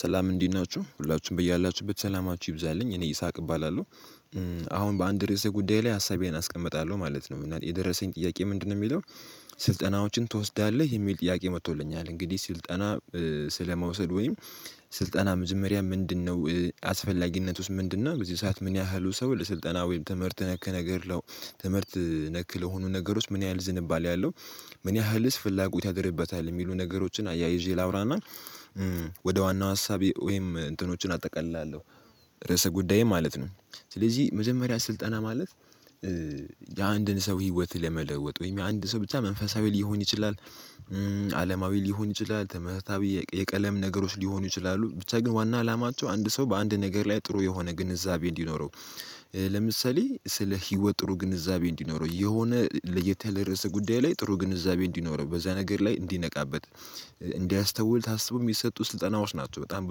ሰላም እንዲህ ናችሁ ሁላችሁም ብያላችሁበት ሰላማችሁ ይብዛልኝ እኔ ይስሐቅ እባላለሁ አሁን በአንድ ርዕስ ጉዳይ ላይ ሀሳቤን አስቀምጣለሁ ማለት ነው እና የደረሰኝ ጥያቄ ምንድነው የሚለው ስልጠናዎችን ትወስዳለህ የሚል ጥያቄ መጥቶልኛል እንግዲህ ስልጠና ስለመውሰድ ወይም ስልጠና መጀመሪያ ምንድነው አስፈላጊነቱስ ምንድነው በዚህ ሰዓት ምን ያህሉ ሰው ለስልጠና ወይም ትምህርት ነክ ነገር ለው ትምህርት ነክ ለሆኑ ነገሮች ምን ያህል ዝንባሌ ያለው ምን ያህልስ ፍላጎት ያድርብታል የሚሉ ነገሮችን አያይዤ ላውራና። ወደ ዋናው ሀሳቤ ወይም እንትኖችን አጠቃላለሁ ርዕሰ ጉዳዬ ማለት ነው ስለዚህ መዘመሪያ ስልጠና ማለት የአንድን ሰው ህይወት ለመለወጥ ወይም የአንድ ሰው ብቻ መንፈሳዊ ሊሆን ይችላል። አለማዊ ሊሆን ይችላል ትምህርታዊ የቀለም ነገሮች ሊሆኑ ይችላሉ ብቻ ግን ዋና አላማቸው አንድ ሰው በአንድ ነገር ላይ ጥሩ የሆነ ግንዛቤ እንዲኖረው። ለምሳሌ ስለ ህይወት ጥሩ ግንዛቤ እንዲኖረው የሆነ ለየተለየሰ ጉዳይ ላይ ጥሩ ግንዛቤ እንዲኖረው በዛ ነገር ላይ እንዲነቃበት እንዲያስተውል ታስቦ የሚሰጡት ስልጠናዎች ናቸው በጣም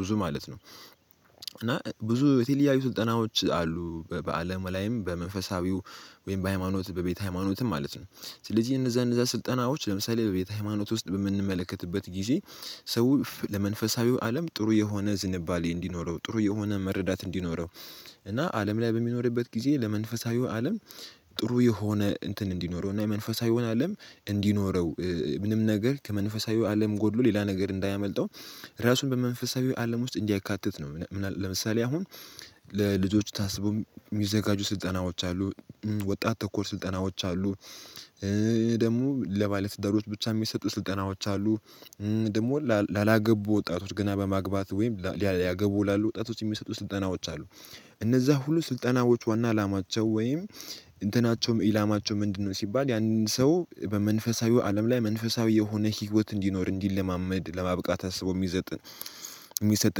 ብዙ ማለት ነው። እና ብዙ የቴልያዊ ስልጠናዎች አሉ በአለም ላይም በመንፈሳዊው ወይም በሃይማኖት በቤተ ሃይማኖትም ማለት ነው ስለዚህ እነዛ እነዛ ስልጠናዎች ለምሳሌ በቤተ ሃይማኖት ውስጥ በምንመለከትበት ጊዜ ሰው ለመንፈሳዊው አለም ጥሩ የሆነ ዝንባሌ እንዲኖረው ጥሩ የሆነ መረዳት እንዲኖረው እና አለም ላይ በሚኖርበት ጊዜ ለመንፈሳዊው አለም ጥሩ የሆነ እንትን እንዲኖረው እና የመንፈሳዊውን አለም እንዲኖረው። ምንም ነገር ከመንፈሳዊ አለም ጎድሎ ሌላ ነገር እንዳያመልጠው ራሱን በመንፈሳዊ አለም ውስጥ እንዲያካትት ነው ምናምን ለምሳሌ አሁን ለልጆች ታስቦ የሚዘጋጁ ስልጠናዎች አሉ ወጣት ተኮር ስልጠናዎች አሉ ደግሞ ለባለትዳሮች ብቻ የሚሰጡ ስልጠናዎች አሉ ደግሞ ላላገቡ ወጣቶች ገና በማግባት ወይም ሊያገቡ ይላሉ ወጣቶች የሚሰጡ ስልጠናዎች አሉ። እነዛ ሁሉ ስልጠናዎች ዋና አላማቸው ወይም እንትናቸውም ኢላማቸው ምንድነው ሲባል ያንን ሰው በመንፈሳዊው አለም ላይ መንፈሳዊ የሆነ ህይወት እንዲኖር እንዲለማመድ ለማብቃት አስቦ የሚሰጥ የሚሰጥ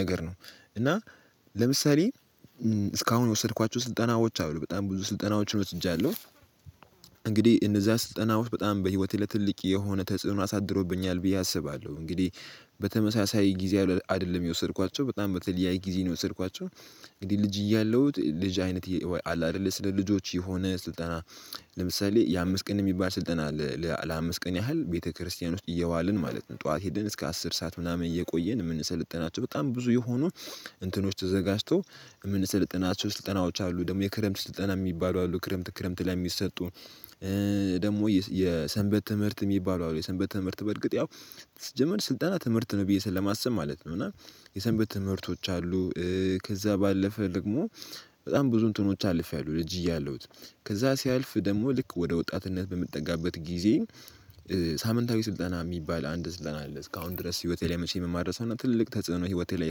ነገር ነው እና ለምሳሌ እስካሁን የወሰድኳቸው ስልጠናዎች አሉ በጣም ብዙ ስልጠናዎችን ወስጃለሁ። እንግዲህ እነዛ ስልጠናዎች በጣም በህይወት ለትልቅ የሆነ ተጽዕኖ አሳድሮብኛል ብዬ አስባለሁ እንግዲህ በተመሳሳይ ጊዜ አይደለም የወሰድኳቸው በጣም በተለያይ ጊዜ ነው የወሰድኳቸው እንግዲህ ልጅ እያለሁት ልጅ አይነት አለ አይደለ ስለ ልጆች የሆነ ስልጠና ለምሳሌ የአምስት ቀን የሚባል ስልጠና አለ። ለአምስት ቀን ያህል ቤተክርስቲያን ውስጥ እየዋልን ማለት ነው ጠዋት ሄደን እስከ አስር ሰዓት ምናምን እየቆየን የምንሰለጥናቸው በጣም ብዙ የሆኑ እንትኖች ተዘጋጅቶ የምንሰለጥናቸው ስልጠናዎች አሉ ደግሞ የክረምት ስልጠና የሚባሉ አሉ ክረምት ክረምት ላይ የሚሰጡ ደግሞ የሰንበት ትምህርት የሚባሉ አሉ የሰንበት ትምህርት በእርግጥ ያው ስጀመር ስልጠና ትምህርት ነው ብዬ ለማሰብ ማለት ነው እና የሰንበት ትምህርቶች አሉ ከዛ ባለፈ ደግሞ በጣም ብዙ እንትኖች አልፌያለሁ ልጅ እያለሁት ከዛ ሲያልፍ ደግሞ ልክ ወደ ወጣትነት በምትጠጋበት ጊዜ ሳምንታዊ ስልጠና የሚባል አንድ ስልጠና አለ እስካሁን ድረስ ህይወቴ ላይ መቼ የምማር ሰው ትልልቅ ተጽዕኖ ህይወቴ ላይ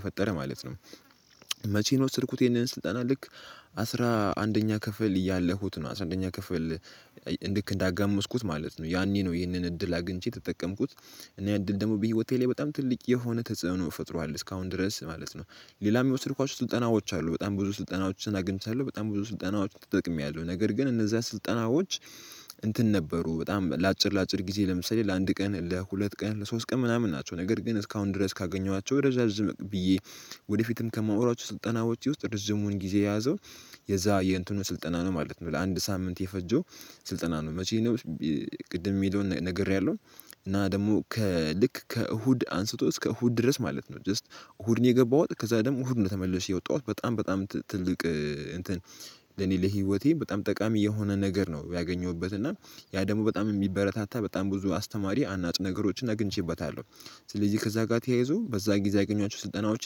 የፈጠረ ማለት ነው መቼን ወሰድኩት የነህን ስልጠና ልክ አስራ አንደኛ ክፍል ያለሁት ነው አስራ አንደኛ ክፍል ልክ እንዳጋመስኩት ማለት ነው ያኔ ነው ይህንን እድል አግኝቼ ተጠቀምኩት። እኔ እድል ደግሞ በህይወቴ ላይ በጣም ትልቅ የሆነ ተጽዕኖ ፈጥሯል እስካሁን ድረስ ማለት ነው ሌላ የሚወስድኳቸው ስልጠናዎች አሉ በጣም ብዙ ስልጠናዎችን አግኝቻለሁ በጣም ብዙ ስልጠናዎችን ተጠቅሜያለሁ ነገር ግን እነዛ ስልጠናዎች እንትን ነበሩ በጣም ለአጭር ለአጭር ጊዜ ለምሳሌ ለአንድ ቀን ለሁለት ቀን ለሶስት ቀን ምናምን ናቸው ነገር ግን እስካሁን ድረስ ካገኘኋቸው ረዣዥም ብዬ ወደፊትም ከማወራቸው ስልጠናዎች ውስጥ ርዝሙን ጊዜ የያዘው የዛ የእንትኑ ስልጠና ነው ማለት ነው ለአንድ ሳምንት የፈጀው ስልጠና ነው መቼ ነው ቅድም የሚለውን ነግሬያለሁ። እና ደግሞ ከልክ ከእሁድ አንስቶ እስከ እሁድ ድረስ ማለት ነው ጀስት እሁድን የገባሁት ከዛ ደግሞ እሁድ ነው ተመልሼ የወጣሁት በጣም በጣም ትልቅ እንትን ለኔ ለህይወቴ በጣም ጠቃሚ የሆነ ነገር ነው ያገኘሁበት እና ያ ደግሞ በጣም የሚበረታታ በጣም ብዙ አስተማሪ አናጭ ነገሮችን አግኝቼበታለሁ ስለዚህ ከዛ ጋር ተያይዞ በዛ ጊዜ ያገኝዋቸው ስልጠናዎች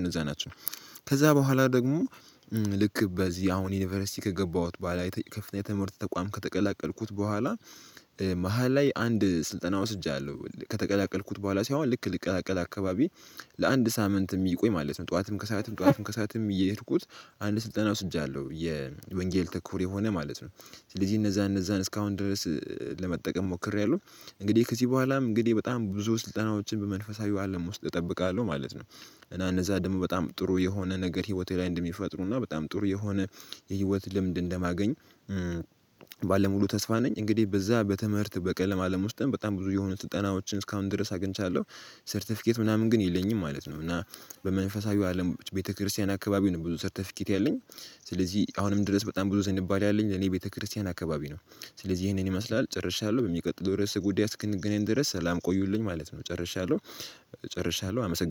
እንደዛ ናቸው። ከዛ በኋላ ደግሞ ልክ በዚህ አሁን ዩኒቨርሲቲ ከገባሁት በኋላ የከፍተኛ ትምህርት ተቋም ከተቀላቀልኩት በኋላ መሃል ላይ አንድ ስልጠና ወስጃለሁ ከተቀላቀልኩት በኋላ ሳይሆን ልክ ልቀላቀል አካባቢ ለአንድ ሳምንት የሚቆይ ማለት ነው ጠዋትም ከሰአትም ጠዋትም ከሰአትም እየሄድኩት አንድ ስልጠና ወስጃለሁ የወንጌል ተኮር የሆነ ማለት ነው ስለዚህ እነዛ እነዛን እስካሁን ድረስ ለመጠቀም ሞክሬያለሁ እንግዲህ ከዚህ በኋላም እንግዲህ በጣም ብዙ ስልጠናዎችን በመንፈሳዊው አለም ውስጥ እጠብቃለሁ ማለት ነው። እና እነዛ ደግሞ በጣም ጥሩ የሆነ ነገር ህይወቴ ላይ እንደሚፈጥሩና በጣም ጥሩ የሆነ የህይወት ልምድ እንደማገኝ ባለሙሉ ተስፋ ነኝ እንግዲህ በዛ በትምህርት በቀለም አለም ውስጥም በጣም ብዙ የሆኑ ስልጠናዎችን እስካሁን ድረስ አግኝቻለሁ ሰርተፊኬት ምናምን ግን የለኝም ማለት ነው እና በመንፈሳዊው አለም ቤተክርስቲያን አካባቢ ነው ብዙ ሰርተፊኬት ያለኝ። ስለዚህ አሁንም ድረስ በጣም ብዙ ስንባል ያለኝ ለኔ ቤተክርስቲያን አካባቢ ነው ስለዚህ ይሄንን ይመስላል ጨርሻለሁ በሚቀጥለው ድረስ ጉዳይ አስክነገናኝ ድረስ ሰላም ቆዩልኝ ማለት ነው ጨርሻለሁ ጨርሻለሁ አመሰግናለሁ።